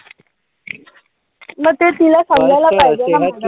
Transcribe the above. म ते तिला समजायला पाहिजे ना.